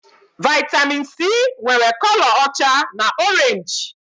Vaitamin Sii nwèrè kọlọ ọcha na orenji